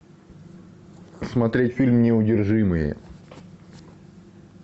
смотреть фильм неудержимые